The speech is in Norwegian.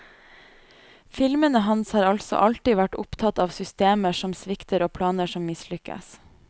Filmene hans har altså alltid vært opptatt av systemer som svikter og planer som mislykkes.